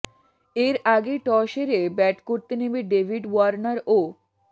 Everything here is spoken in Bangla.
এর আগে টস হেরে ব্যাট করতে নেমে ডেভিড ওয়ার্নার ও